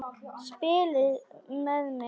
Spila með þig?